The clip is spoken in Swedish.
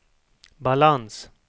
balans